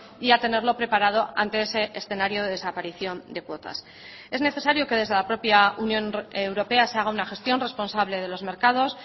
y a tenerlo preparado ante ese escenario de desaparición de cuotas es necesario que desde la propia unión europea se haga una gestión responsable de los mercados